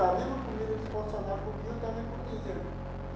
A mesma comida que o funcionário comia, eu também comia.